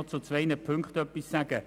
Ich möchte nun noch zu zwei Punkten etwas sagen: